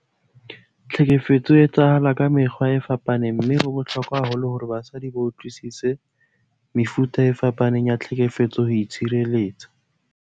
Tlhekefetso e etsahala ka mekgwa e fapaneng mme ho bohlokwa haholo hore basadi ba utlwisise mefuta e fapaneng ya tlhekefetso ho itshireletsa.